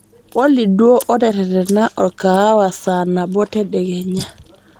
olly duo oteretena orkaawa saanabo tedekenya